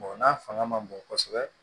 n'a fanga man bon kosɛbɛ